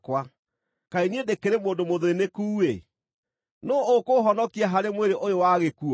Kaĩ niĩ ndĩkĩrĩ mũndũ mũthĩĩnĩku-ĩ! Nũũ ũkũũhonokia harĩ mwĩrĩ ũyũ wa gĩkuũ?